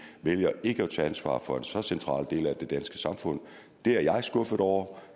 vælger ikke at tage ansvar for en så central del af det danske samfund det er jeg skuffet over